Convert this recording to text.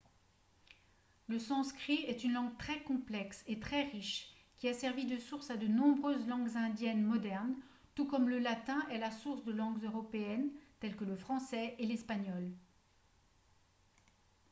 le sanskrit est une langue très complexe et très riche qui a servi de source à de nombreuses langues indiennes modernes tout comme le latin est la source de langues européennes telles que le français et l'espagnol